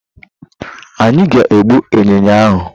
Anyi ga egbu ịnyịnya ahụ.